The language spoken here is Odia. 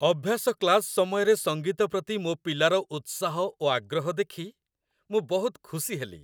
ଅଭ୍ୟାସ କ୍ଲାସ୍ ସମୟରେ ସଙ୍ଗୀତ ପ୍ରତି ମୋ ପିଲାର ଉତ୍ସାହ ଓ ଆଗ୍ରହ ଦେଖି ମୁଁ ବହୁତ ଖୁସି ହେଲି।